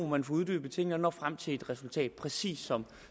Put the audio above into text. man får uddybet tingene og når frem til et resultat præcis som